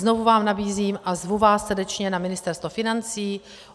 Znovu vám nabízím a zvu vás srdečně na Ministerstvo financí.